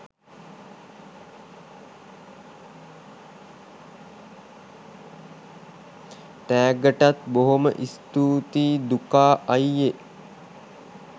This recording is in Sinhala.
තෑග්ගටත් බොහොම ස්තූතියි දුකා අයියේ